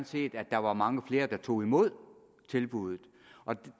set at der var mange flere der tog imod tilbuddet og